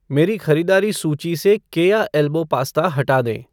मेरी ख़रीदारी सूची से केया एल्बो पास्ता हटा दें